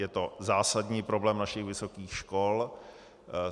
Je to zásadní problém našich vysokých škol.